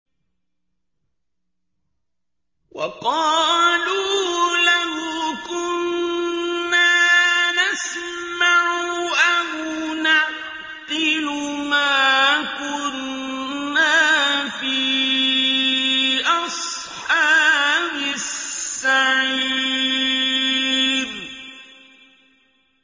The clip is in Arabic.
وَقَالُوا لَوْ كُنَّا نَسْمَعُ أَوْ نَعْقِلُ مَا كُنَّا فِي أَصْحَابِ السَّعِيرِ